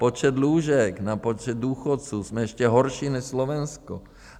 Počet lůžek na počet důchodců, jsme ještě horší než Slovensko.